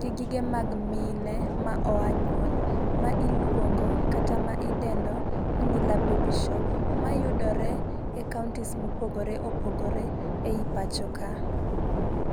gi gige mag mine ma oa nyuol ma iluongo kata ma idendo ni nila baby shop mayuroe e counties mopogore opogore e pacho ka.